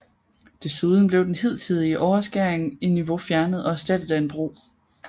Desuden blev den hidtidige overskæring i niveau fjernet og erstattet af en bro